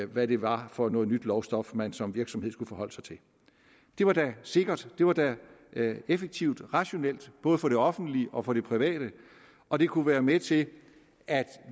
hvad det var for noget nyt lovstof man som virksomhed skulle forholde sig til det var da sikkert det var da effektivt og rationelt både for det offentlige og for det private og det kunne være med til at